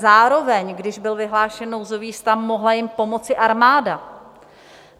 Zároveň když byl vyhlášen nouzový stav, mohla jim pomoci armáda.